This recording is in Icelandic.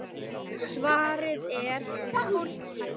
Svarið er: Fólkið.